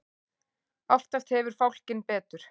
Oftast hefur fálkinn betur.